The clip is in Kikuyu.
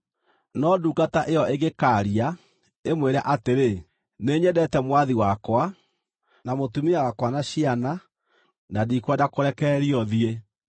“No ndungata ĩyo ĩngĩkaaria, ĩmwĩre atĩrĩ, ‘Nĩnyendete mwathi wakwa, na mũtumia wakwa na ciana na ndikwenda kũrekererio thiĩ,’